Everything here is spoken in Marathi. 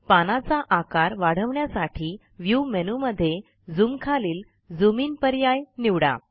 पानाचा आकार वाढवण्यासाठी व्ह्यू मेनूमधे Zoomखालील झूम इन पर्याय निवडा